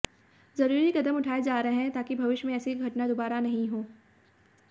जरूरी कदम उठाए जा रहे हैं ताकि भविष्य में ऐसी घटना दोबारा नहीं हो